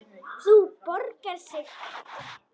Það borgar sig ekki